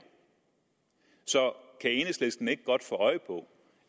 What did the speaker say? så kan enhedslisten ikke godt få øje på